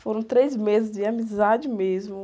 Foram três meses de amizade mesmo.